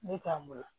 Ne k'a ma